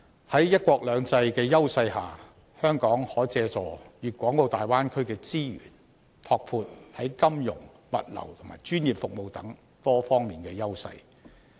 在"一國兩制"的優勢下，香港可借助大灣區的資源，拓闊在金融、物流和專業服務等多方面的優勢。